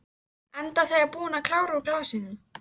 Enda þegar búin að klára úr glasinu.